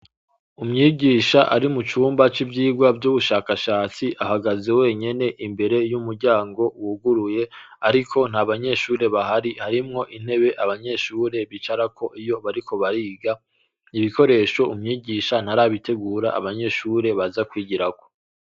Umwigisha ari mu cumba c' ivyirwa vy'ubushakashatsi, ahagaze wenyene imbere y' umuryango wuguruye, ariko ntabanyeshure bahari, harimwo intebe abanyeshure bicarako iyo bariko bariga, ibikoresho umwigisha ntarabitegura, abanyeshure baza kwigirako.